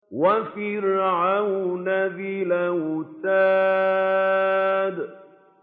وَفِرْعَوْنَ ذِي الْأَوْتَادِ